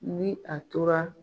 Ni a tora